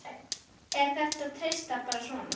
Er þér treyst bara svona?